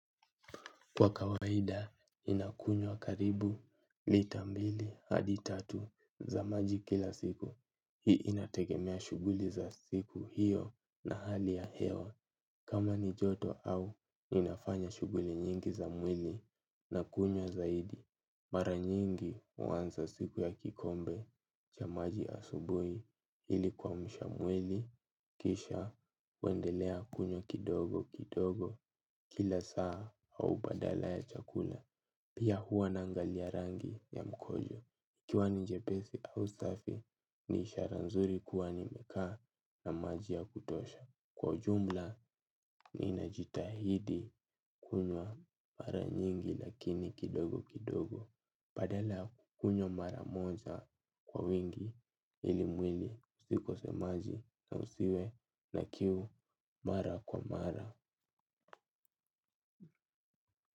Kwa kawaida, inakunywa karibu, lita mbili, hadi tatu za maji kila siku. Hii inategemea shughuli za siku hiyo na hali ya hewa. Kama ni joto au, inafanya shughuli nyingi za mwili na kunywa zaidi. Mara nyingi huanza siku ya kikombe cha maji asubuhi ilikuwa kuamsha mwili, kisha, huendelea kunywa kidogo kidogo kila saa au badala ya chakula. Pia huwa na angali ya rangi ya mkojo. Ikiiwa njepesi au safi ni ishara nzuri kuwa nimekaa na maji ya kutosha. Kwa jumla ni najitahidi kunywa mara nyingi lakini kidogo kidogo. Badala ya kukunywa mara moja kwa wingi ili mwili ikose maji na usiwe na kiu mara kwa mara.